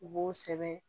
U b'o sɛbɛn